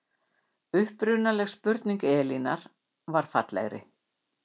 upprunaleg spurning elínar var fallegri